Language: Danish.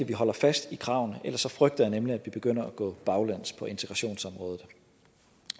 vi holder fast i kravene ellers frygter jeg nemlig at vi begynder at gå baglæns på integrationsområdet